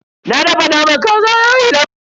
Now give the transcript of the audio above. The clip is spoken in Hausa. Na dafa naman kazan yayi laushi dayawa.